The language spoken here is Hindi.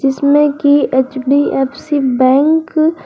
जिसमें कि एच_डी_एफ_सी बैंक --